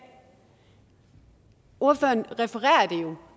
ordføreren refererer